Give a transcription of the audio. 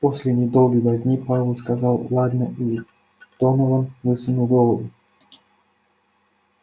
после недолгой возни пауэлл сказал ладно и донован высунул голову